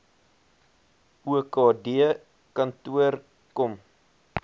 okd kantoor kom